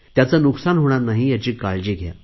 त्याचे नुकसान होणार नाही याची काळजी घ्या